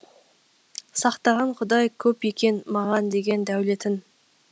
сақтаған құдай көп екен маған деген дәулетін